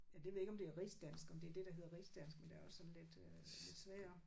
Ja det ved jeg ikke om det er rigdansk om det er det der hedder rigsdansk men der er også lidt øh lidt svagere